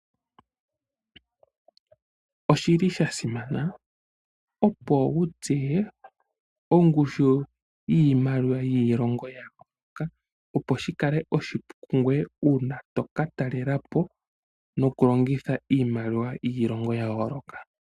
Oshili sha simana opo wu tseye ongushu yiimaliwa yiilongo ya yooloka. Opo shi kale oshipu kungoye uuna toka talela po nokulongitha iimaliwa yiilongo ya yooloka.